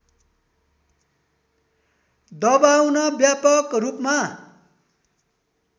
दबाउन व्यापक रूपमा